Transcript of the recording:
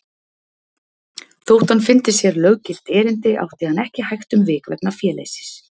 Þó hann fyndi sér löggilt erindi átti hann ekki hægt um vik vegna féleysis.